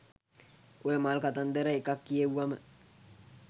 ඔය මල් කතන්දර එකක් කියෙව්වම